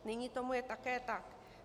Nyní tomu je také tak.